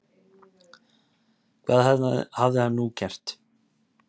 Hvað hafði hann nú gert?